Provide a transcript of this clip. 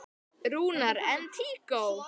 Rúnar: En tíkó?